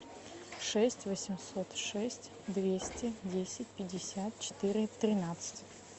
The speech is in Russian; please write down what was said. шесть восемьсот шесть двести десять пятьдесят четыре тринадцать